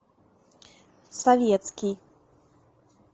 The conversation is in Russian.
советский